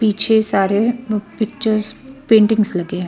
पीछे सारे प पिक्चर पेंटिंग्स लगे हुए है.